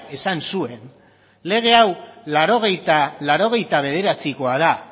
esan zuen lege hau mila bederatziehun eta laurogeita bederatzikoa da